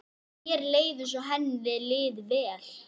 Mér leið eins og henni liði vel.